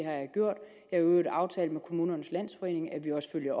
øvrigt aftalt med kommunernes landsforening at vi også følger